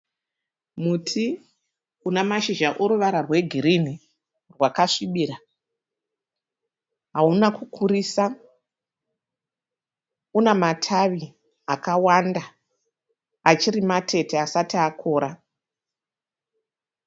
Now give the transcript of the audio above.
Muti unamashizha oruvara rwegirini hwakasvibira hauna kukurisa unamatavi akawanda achirimatete asati akora.